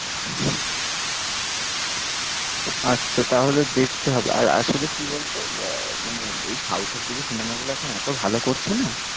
আচ্ছা তাহলে দেখতে হবে, আর আসলে কি বল তো আহ মানে ওই south এর দিকের সিনেমাগুলো এখন এত ভালো করছে না।